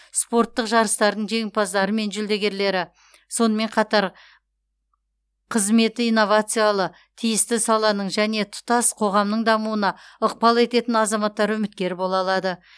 спорттық жарыстардың жеңімпаздары мен жүлдегерлері сонымен қатар қызметі инновациялы тиісті саланың және тұтас қоғамның дамуына ықпал ететін азаматтар үміткер бола алады